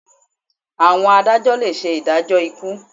Àwọn adájọ́ le ṣe ìdájọ́ ikú.